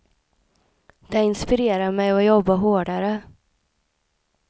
Det inspirerar mig att jobba hårdare.